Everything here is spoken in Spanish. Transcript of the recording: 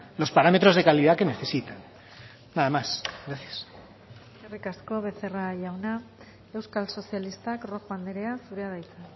los parámetros de calidad que necesitan nada más gracias eskerrik asko becerra jauna euskal sozialistak rojo andrea zurea da hitza